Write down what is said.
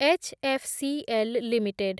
HFCL limited